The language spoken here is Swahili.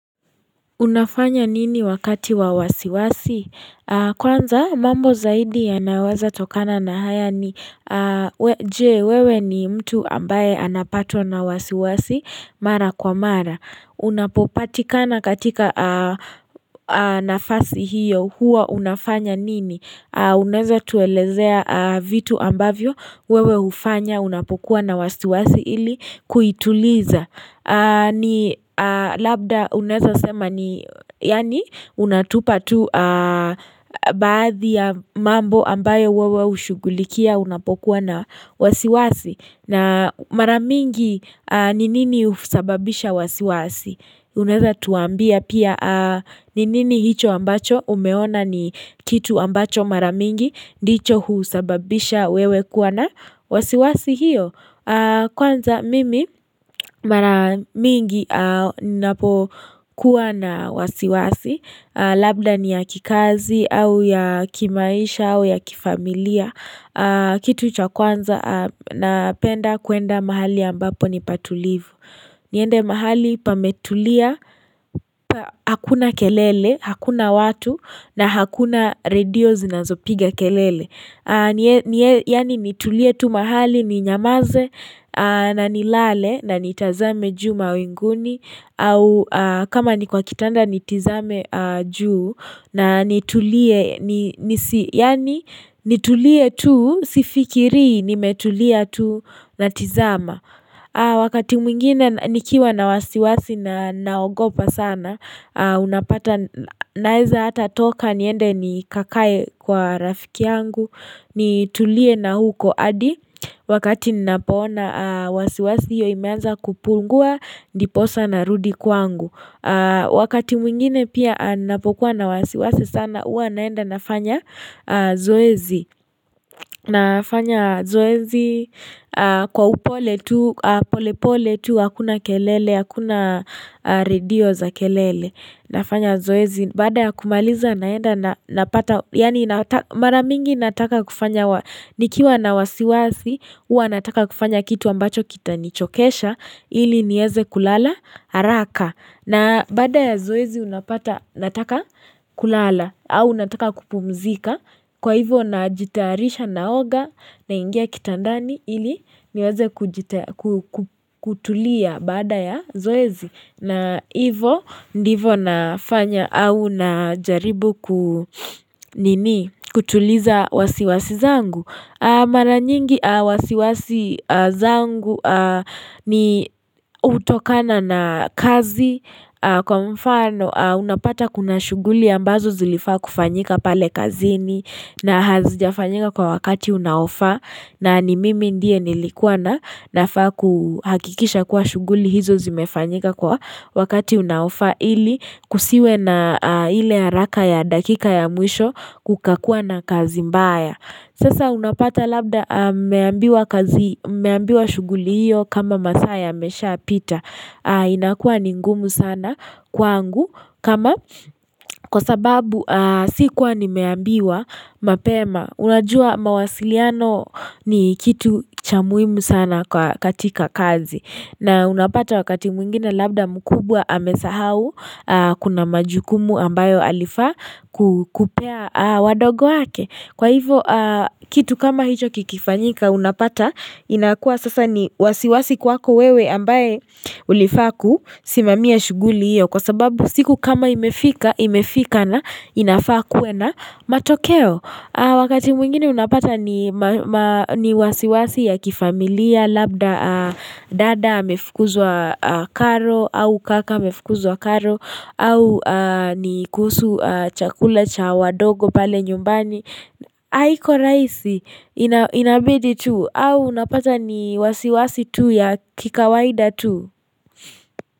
Unafanya nini wakati wa wasiwasi? Kwanza mambo zaidi yanaweza tokana na haya ni Je, wewe ni mtu ambaye anapatwa na wasiwasi mara kwa mara Unapopatikana katika nafasi hiyo huwa unafanya nini? Unaeza tuelezea vitu ambavyo wewe hufanya unapokuwa na wasiwasi ili kuituliza ni labda unaeza sema ni yani unatupa tu baadhi ya mambo ambayo wewe hushugulikia unapokuwa na wasiwasi na maramingi ni nini husababisha wasiwasi Unaeza tuambia pia ni nini hicho ambacho umeona ni kitu ambacho maramingi ndicho husababisha wewe kuwa na wasiwasi hiyo Kwanza mimi maramingi napo kuwa na wasiwasi Labda ni ya kikazi au ya kimaisha au ya kifamilia kitu cha kwanza napenda kwenda mahali ambapo ni patulivu niende mahali pametulia Hakuna kelele, hakuna watu na hakuna radio zinazopiga kelele Yani nitulie tu mahali ni nyamaze na nilale na nitazame juhu mawinguni au kama ni kwa kitanda nitizame juu na nitulie tu sifikiri nimetulia tu natizama Wakati mwingine nikiwa na wasiwasi na naogopa sana Unapata naeza hata toka niende nikakaye kwa rafiki yangu nitulie na huko hadi Wakati napoona wasiwasi hiyo imeanza kupungua Ndiposa na rudi kwangu Wakati mwingine pia napokuwa na wasiwasi sana Uwa naenda nafanya zoezi nafanya zoezi kwa upole tu, polepole tu, hakuna kelele, hakuna radio za kelele nafanya zoezi, baada ya kumaliza naenda napata, yani maramingi nataka kufanya nikiwa na wasiwasi, uwa nataka kufanya kitu ambacho kitanichokesha ili nieze kulala, haraka na baada ya zoezi unapata nataka kulala au nataka kupumzika Kwa hivo najitayarisha naoga naingia kitandani Ili niweze haraka na baada ya zoezi unapata nataka kulala au nataka kupumzika Kwa hivo najitarisha naoga na ingia kitandani Ili niweze kutuliza baada ya zoezi na hivo ndivo nafanya au na jaribu Maranyingi wasiwasi zangu ni utokana na kazi Kwa mfano unapata kuna shuguli ambazo zilifaa kufanyika pale kazini na hazijafanyika kwa wakati unaofaa na ni mimi ndiye nilikuwa na nafaa kuhakikisha kwa shuguli hizo zimefanyika kwa wakati unaofaa ili kusiwe na ile haraka ya dakika ya mwisho kuka kuwa na kazi mbaya. Sasa unapata labda mmeambiwa shuguli hiyo kama masaa yamesha pita inakuwa ni ngumu sana kwangu kwa sababu sikuwa nimeambiwa mapema Unajua mawasiliano ni kitu cha muhimu sana katika kazi na unapata wakati mwingine labda mkubwa amesahau kuna majukumu ambayo alifaa kukupea wadogo wake Kwa hivo kitu kama hicho kikifanyika unapata inakuwa sasa ni wasiwasi kwako wewe ambaye ulifaa kusimamia shuguli hiyo kwa sababu siku kama imefika na a na matokeo. Wakati mwingine unapata ni wasiwasi ya kifamilia labda dada amefukuzwa karo au kaka amefukuzwa karo au ni kuhusu chakule cha wadogo pale nyumbani Haiko rahisi inabidi tu au unapata ni wasiwasi tu ya kikawaida tu.